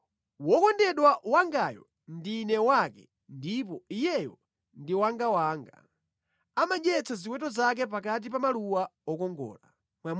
Wokondedwa wangayo ndine wake ndipo iyeyo ndi wangawanga; amadyetsa ziweto zake pakati pa maluwa okongola.